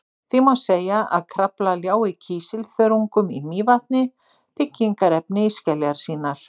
því má segja að krafla ljái kísilþörungum í mývatni byggingarefni í skeljar sínar